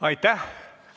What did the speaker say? Aitäh!